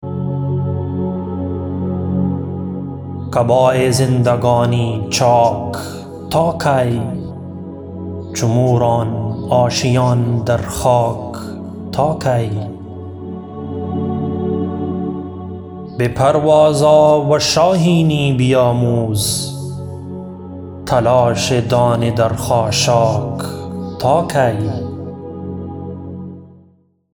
قبای زندگانی چاک تا کی چو موران آشیان در خاک تا کی بپرواز آ و شاهینی بیاموز تلاش دانه در خاشاک تا کی